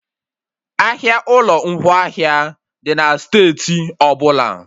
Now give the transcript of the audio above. Ahịa ụlọ ngwaahịa dị na steeti ọbụla